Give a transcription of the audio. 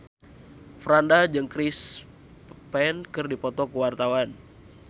Franda jeung Chris Pane keur dipoto ku wartawan